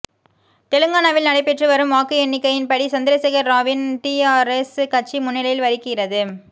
தெலுங்கானாவில் நடைபெற்றுவரும் வாக்கு எண்ணிக்கையின்படி சந்திரசேகர ராவின் டிஆரெஸ் கட்சி முன்னிலை வகிக்கிறது